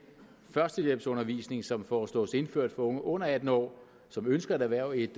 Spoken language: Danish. førstehjælpsundervisning som foreslås indført for unge under atten år som ønsker at erhverve et